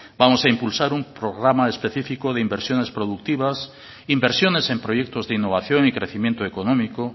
vamos a impulsar un programa específico de inversiones productivas inversiones en proyectos de innovación y crecimiento económico